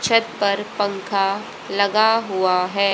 छत पर पंखा लगा हुआ हैं।